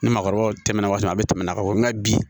Ni maakɔrɔbaw tɛmɛna waati min na a bɛ tɛmɛ a ka fɔ nga bi